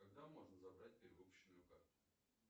когда можно забрать перевыпущенную карту